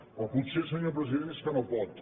o potser senyor president és que no pot